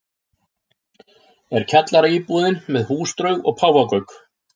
er kjallaraíbúðin með húsdraug og páfagauk